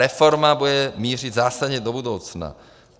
Reforma bude mířit zásadně do budoucna.